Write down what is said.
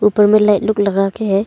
उपर में लाइट लोग लगा के है।